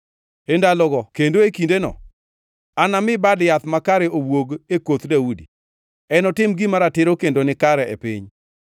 “ ‘E ndalogo kendo e kindeno anami Bad Yath makare owuog e koth Daudi; enotim gima ratiro kendo nikare e piny.